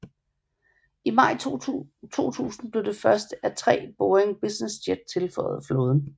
I maj 2000 blev det første af tre Boeing Business Jet tilføjet flåden